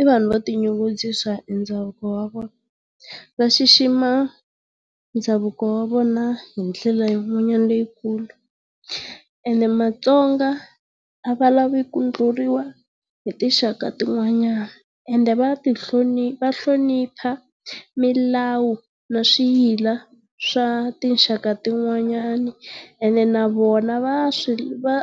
i vanhu vo ti nyungubyisa hi ndhavuko wa vona. Va xixima ndhavuko wa vona hi dlela yin'wanyana leyikulu ene mastonga a va lavi ku ndlhuriwa hi tinxaka tin'wanyana ende va ti va hlonipha milawu na swiyila swa tinxaka tin'wanyana ene na vona va swi va